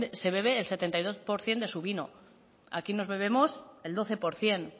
se bebe el setenta y dos por ciento de su vino aquí nos bebemos el doce por ciento